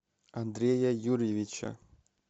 андрея юрьевича